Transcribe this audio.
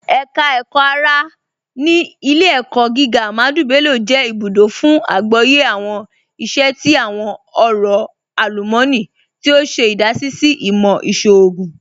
Ẹka Ẹkọ-ara ni Ilẹ̀-ẹ̀kọ̀ gígà Ahmadu Bello jẹ ibùdó fún àgbọ̀yẹ̀ awọn iṣẹ̀ ti awọn ọ̀rọ̀ alumọ̀nì, tí o ṣe idasí sí ìmọ̀ iṣọọ̀gùn.